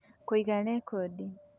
Kũiga rekondi: